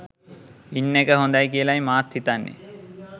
ඉන්න එක හොඳයි කියලයි මාත් හිතන්නේ